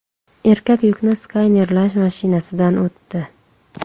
Erkak yukni skanerlash mashinasidan o‘tdi .